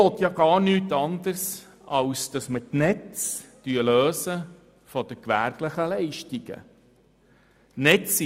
Ich will gar nichts anderes, als die Netze von den gewerblichen Leistungen zu lösen.